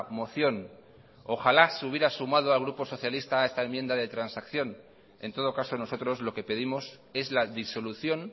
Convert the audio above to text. moción ojalá se hubiera sumado el grupo socialista a esta enmienda de transacción en todo caso nosotros lo que pedimos es la disolución